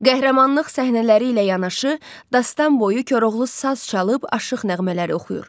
Qəhrəmanlıq səhnələri ilə yanaşı, dastan boyu Koroğlu saz çalıb, aşıq nəğmələri oxuyur.